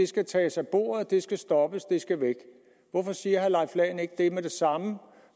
skal tages af bordet det skal stoppes det skal væk hvorfor siger herre leif lahn jensen ikke det med det samme